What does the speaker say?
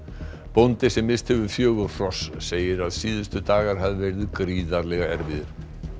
bóndi sem misst hefur fjögur hross segir að síðustu dagar hafi verið gríðarlega erfiðir